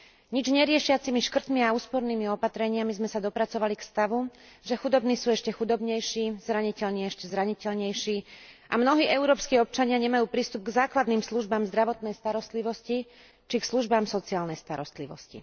Nič neriešiacimi škrtmi a úspornými opatreniami sme sa dopracovali k stavu, že chudobní sú ešte chudobnejší, zraniteľní ešte zraniteľnejší a mnohí európski občania nemajú prístup k základným službám zdravotnej starostlivosti či k službám sociálnej starostlivosti.